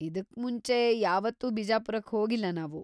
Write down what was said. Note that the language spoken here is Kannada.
ಇದುಕ್ಮುಂಚೆ ಯಾವತ್ತೂ ಬಿಜಾಪುರಕ್ ಹೋಗಿಲ್ಲ ನಾವು.